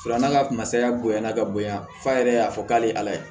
Fara n'a ka masaya bonyana ka bonya f'a yɛrɛ y'a fɔ k'a ye ala ye